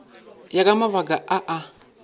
ya ka mabaka a a